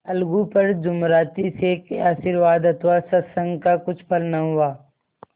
अलगू पर जुमराती शेख के आशीर्वाद अथवा सत्संग का कुछ फल न हुआ